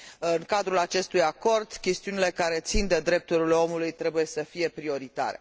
În cadrul acestui acord, chestiunile care țin de drepturile omului trebuie să fie prioritare.